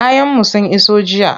Kayanmu sun iso jiya.